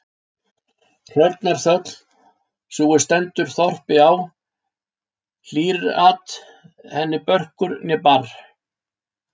Hrörnar þöll, sú er stendur þorpi á, hlýr-at henni börkur né barr.